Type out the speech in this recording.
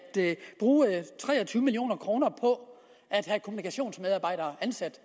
bruge tre og tyve million kroner på at have kommunikationsmedarbejdere ansat